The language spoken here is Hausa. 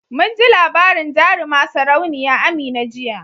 Munji labarin jaruma sarauniya Amina jiya